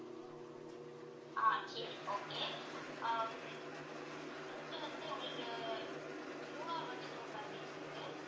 ஆஹ் சரி okay ஆஹ் first வந்து உங்களுக்கு மூணாறு வந்து tour package இருக்கு